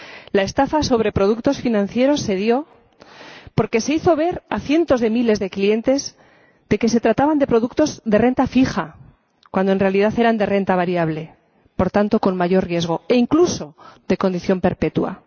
La estafa sobre productos financieros se dio porque se hizo ver a cientos de miles de clientes que se trataba de productos de renta fija, cuando en realidad eran de renta variable, por tanto, con mayor riesgo, e incluso de condición perpetua.